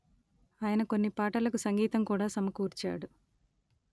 ఆయన కొన్ని పాటలకు సంగీతం కూడా సమకూర్చాడు